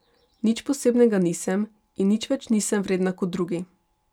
Nič posebnega nisem in nič več nisem vredna kot drugi.